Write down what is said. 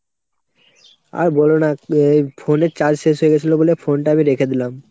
আর বোলো না, এ phone এর charge শেষ হয়েগেছিলো বলে phone টা আমি রেখে দিলাম।